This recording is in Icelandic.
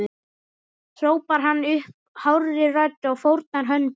hrópar hann upp hárri röddu og fórnar höndum.